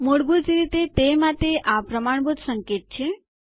મૂળભૂત રીતે તે માટે આ પ્રમાણભૂત સંકેત છે